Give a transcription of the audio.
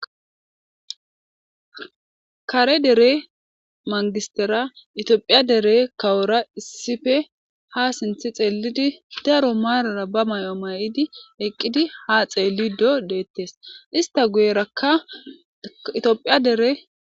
Kare dere manigistera itophey dere kawora issipe hasa xelidi daro maran ba mayo mayidi mara eqidi ha xelishi do'sona etape guyera itophey dere